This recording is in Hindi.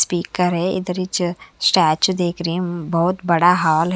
स्पीकर हे इधर हीच स्टेचू देख रहें बहोत बड़ा हाल --